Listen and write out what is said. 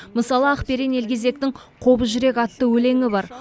мысалы ақберен елгезектің қобыз жүрек атты өлеңі бар